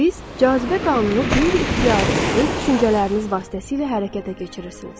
Siz cazibə qanunu qeyri-ixtiyari öz düşüncələriniz vasitəsilə hərəkətə keçirirsiniz.